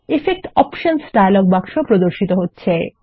effect options dialog বাক্স প্রদর্শিত হচ্ছে